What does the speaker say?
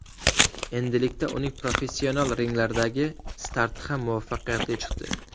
Endilikda uning professional ringlardagi starti ham muvaffaqiyatli chiqdi.